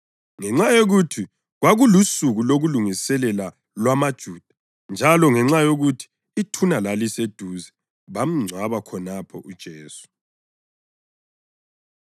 Ngenxa yokuthi kwakulusuku lokulungiselela lwamaJuda njalo ngenxa yokuthi ithuna laliseduze, bamngcwaba khonapho uJesu.